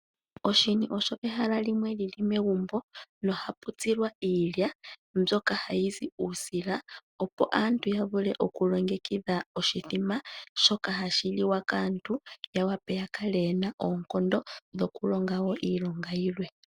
Oshini osho ehala lyili megumbo, moka hamu tsilwa iilya. Miilya ohamu zi uusila opo aantu yavule okulingekidha oshimbombo, shono hashi liwa kaantu, opo yakale ye na oonkondo dhokulonga iilonga yilwe.